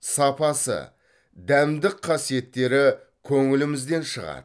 сапасы дәмдік қасиеттері көңілімізден шығады